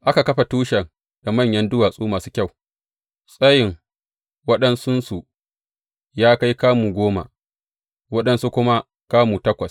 Aka kafa tushen da manyan duwatsu masu kyau, tsayin waɗansunsu ya kai kamu goma, waɗansu kuma kamu takwas.